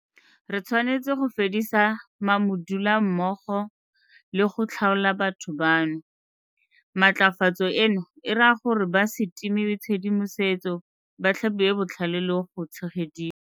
Re tshwanetse go fedisa ma-modula mmogo le go tlhaola batho bano. Matlafatso eno e raya gore ba se timiwe tshedimosetso, ba tlhabiwe botlhale le go tshegediwa.